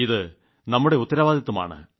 ഇത് നമ്മുടെ ഉത്തരവാദിത്വമാണ്